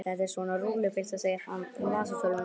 Þetta er svona rúllupylsa segir hann um vasatölvuna.